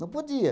Não podia.